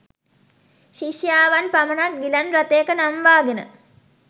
ශිෂ්‍යාවන් පමණක් ගිලන් රථයක නංවාගෙන